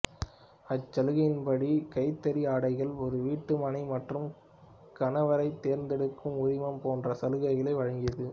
அச்சலுகையின் படி கைத்தறி ஆடைகள் ஒரு வீட்டுமனை மற்றும் கணவரைத் தேர்ந்தெடுக்கும் உரிமை போன்ற சலுகைகளை வழங்கியது